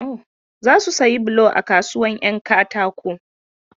Za su sayi bulo a kasuwar 'yan katako.